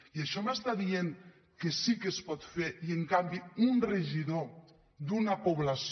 i això m’està dient que sí que es pot fer i en canvi un regidor d’una població